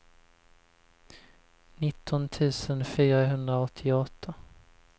nitton tusen fyrahundraåttioåtta